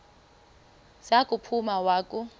za kuphuma wakhu